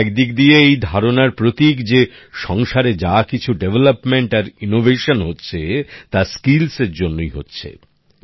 এটা একদিক দিয়ে এই ধারণার প্রতীক যে সংসারে যা কিছু উন্নয়ন আর উদ্ভাবন হচ্ছে তা দক্ষতার জন্যই হচ্ছে